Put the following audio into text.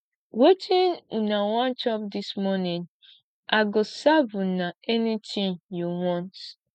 wetin una wan chop dis morning i go serve una anything you want